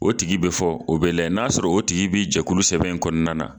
O tigi bɛ fɔ o bɛ lajɛ n'a sɔrɔ o tigi bɛ jɛkulusɛbɛn in kɔnɔna na